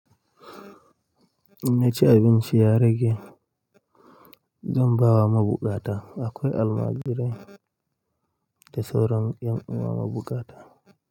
Naci abinci ya rage, zan ba wa mabuƙata. Akwai almajirai da sauran ƴan uwa mabuƙata.